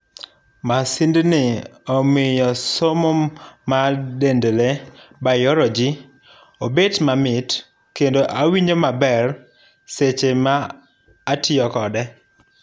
Masind ni omiyo somo mar dend lee[biology] obet mamit kendo awinjo maber seche ma atiyo kode.